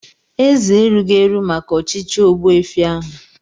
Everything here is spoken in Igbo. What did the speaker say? Eze erughị eru maka echichi ogbuefi ahu.